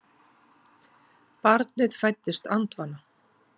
Barnið fæddist andvana